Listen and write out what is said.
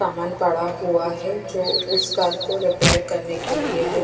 सामान पड़ा हुआ है जो उस कार को रिपेयर करने के लिये है।